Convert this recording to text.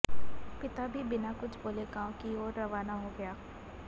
पिता भी बिना कुछ बोले गांव की ओर रवाना हो गया